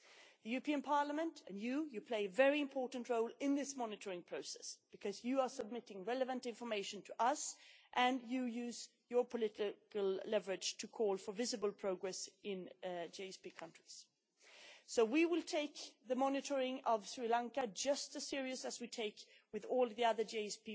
The European Parliament plays you play a very important role in this monitoring process because you submit relevant information to us and you use your political leverage to call for visible progress in GSP countries. So we will take the monitoring of Sri Lanka just as seriously as we take it for all the